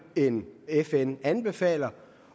end fn anbefaler